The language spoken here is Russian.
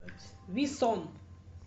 виссон